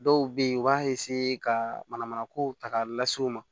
Dɔw be yen u b'a ka manamanakow ta k'a lase u ma